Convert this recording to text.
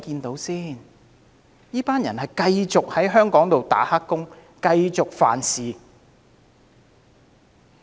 他們將繼續留在香港做黑工，繼續犯法。